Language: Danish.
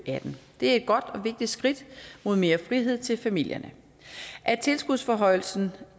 og atten det er et godt og vigtigt skridt mod mere frihed til familierne af tilskudsforhøjelsen